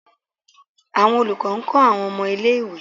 awọn olukọni nkọ awọn ọmọ ìlé-ìwé